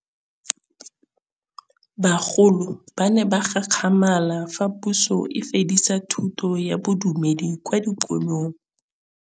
Bagolo ba ne ba gakgamala fa Pusô e fedisa thutô ya Bodumedi kwa dikolong.